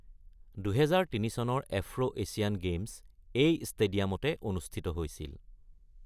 ২০০৩ চনৰ Afro Asian games এই ষ্টেডিয়ামতে অনুষ্ঠিত হৈছিল।